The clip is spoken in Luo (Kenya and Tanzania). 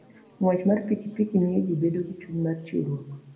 Ng'wech mar pikipiki miyo ji bedo gi chuny mar chiwruok.